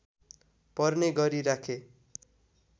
पर्ने गरी राखे